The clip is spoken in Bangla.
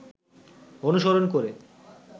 অনুসরণ করে